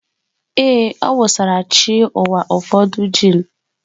Ee, ọ wụsara chi ụwa ụfọdụ gin.